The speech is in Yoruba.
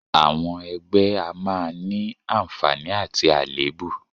Àwọn ẹgbẹ́ a máa ní àǹfààní àti àléébù